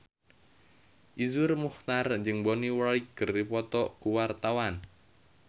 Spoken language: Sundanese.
Iszur Muchtar jeung Bonnie Wright keur dipoto ku wartawan